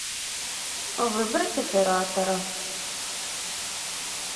выбрать оператора